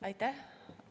Aitäh!